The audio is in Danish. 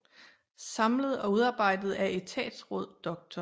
Samlet og udarbejdet af Etatsraad Dr